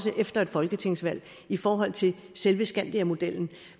efter et folketingsvalg i forhold til selve skandiamodellen